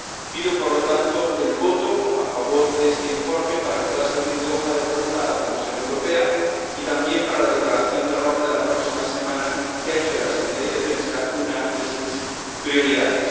Pido, por lo tanto, el voto a favor de este informe, para que pueda servir de hoja de ruta a la Comisión Europea y también para la Declaración de Roma de la próxima semana, que ha hecho de la seguridad y defensa una de sus prioridades.